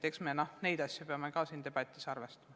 Eks me neid asju peame ka siin debatis arvestama.